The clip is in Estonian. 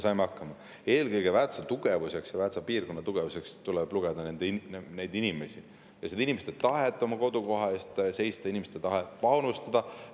Eelkõige tuleb Väätsa tugevuseks ja Väätsa piirkonna tugevuseks lugeda neid inimesi ja inimeste tahet oma kodukoha eest seista, inimeste tahet panustada.